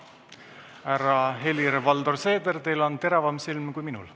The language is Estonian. Härra Helir-Valdor Seeder, teil on teravam silm kui minul.